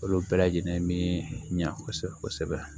Olu bɛɛ lajɛlen mi ɲa kɔsɛbɛ kɔsɛbɛ